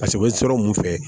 Paseke u bɛ sɔrɔ mun fɛ